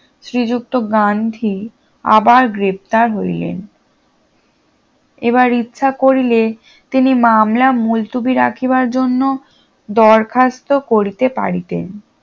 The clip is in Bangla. শ্রীযুক্ত গান্ধী আবার গ্রেপ্তার হইলেন এবার ইচ্ছা করিলে তিনি মামলা মুলতুবি রাখিবার জন্য দরখাস্ত করিতে পারিতেন